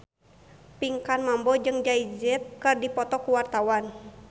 Pinkan Mambo jeung Jay Z keur dipoto ku wartawan